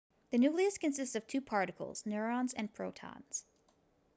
the nucleus consists of two particles neutrons and protons